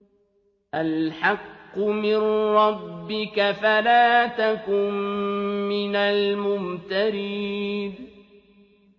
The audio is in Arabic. الْحَقُّ مِن رَّبِّكَ فَلَا تَكُن مِّنَ الْمُمْتَرِينَ